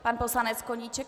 Pan poslanec Koníček.